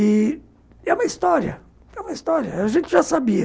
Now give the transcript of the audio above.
E é uma história, é uma história, a gente já sabia.